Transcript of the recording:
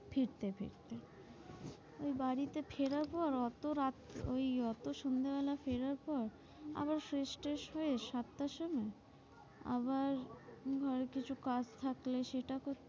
ফিরতে ফিরতে বাড়িতে ফেরার পর অত রাত্রে, ওই সন্ধ্যা বেলা ফেরার পর আবার fresh tresh হয়ে সাতটার সময় আবার ঘরে কিছু কাজ থাকলে সেটা করতে হয়